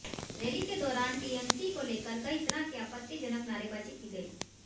rally के दौरान TMC को लेकर कई तरह की आपत्तिजनक नारेबाजी की गई